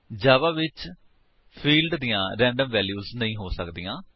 ਜਾਵਾ ਵਿੱਚ ਫਿਲਡਸ ਦੀਆਂ random values ਨਹੀਂ ਹੋ ਸਕਦੀਆਂ